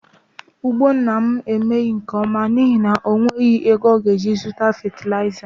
Ugbo nna m emeghị nke ọma n'ihi na o nweghị ego ọ ga-eji zụta fetilaịza